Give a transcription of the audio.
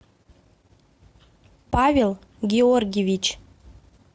павел георгиевич